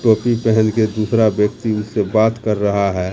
टोपी पहन के दूसरा व्यक्ति उनसे बात कर रहा है।